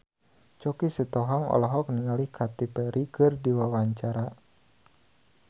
Choky Sitohang olohok ningali Katy Perry keur diwawancara